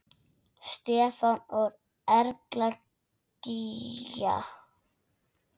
Stefán og Erla Gígja.